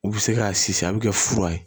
U bɛ se k'a si a bɛ kɛ fura ye